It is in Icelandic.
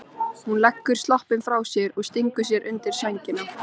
Hún leggur sloppinn frá sér og stingur sér undir sængina.